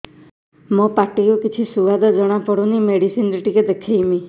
ମୋ ପାଟି କୁ କିଛି ସୁଆଦ ଜଣାପଡ଼ୁନି ମେଡିସିନ ରେ ଟିକେ ଦେଖେଇମି